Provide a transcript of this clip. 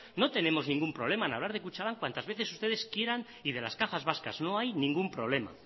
no tenemos ningún problema en hablar de kutxabank cuantas veces ustedes quieran y de las cajas vascas no hay ningún problema